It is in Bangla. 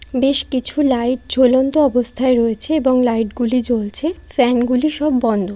বেশ কিছু লাইট ঝুলন্ত অবস্থায় রয়েছে এবং লাইট গুলি জ্বলছে। ফ্যান গুলো সব বন্ধ।